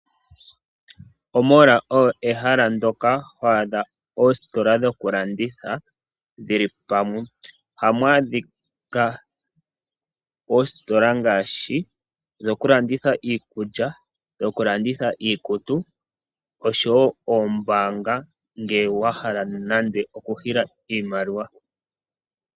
Omall oyo eyala ndoka ho adha oositola dhoku landitha dhili pamwe. Ohamu adhika oositola ngaashi dhoku landitha iikulya, dhoku landitha iikutu oshowo oombaanga ngele wa hala mo nande oku nana iimaliwa.